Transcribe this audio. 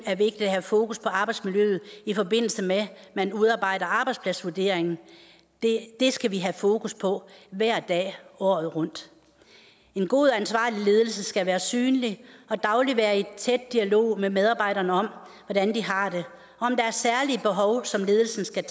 er vigtigt at have fokus på arbejdsmiljøet i forbindelse med at man udarbejder arbejdspladsvurderingen det skal vi have fokus på hver dag året rundt en god og ansvarlig ledelse skal være synlig og dagligt være i tæt dialog med medarbejderne om hvordan de har det om der er særlige behov som ledelsen skal